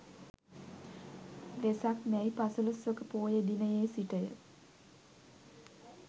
වෙසක් මැයි පසළොස්වක පෝය දිනයේ සිට ය.